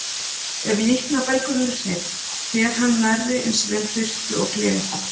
Ef líknarbelgurinn er hreinn, ber hann nærri eins vel birtu og gler.